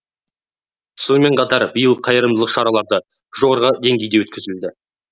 сонымен қатар биыл қайырымдылық шаралары жоғары деңгейде өткізілді